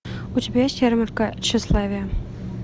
у тебя есть ярмарка тщеславия